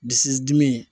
Dusu dimi